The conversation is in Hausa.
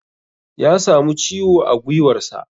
Ya samu ciwo a gwiwarsa.